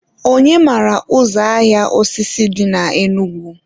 onye mara ụzọ ahịa osisi dị na Enugu?